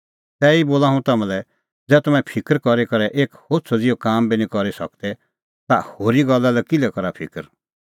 तैही बोला हुंह तम्हां लै ज़ै तम्हैं फिकर करी करै एक होछ़अ ज़िहअ काम बी निं करी सकदै ता होरी गल्ला लै किल्है करा फिकर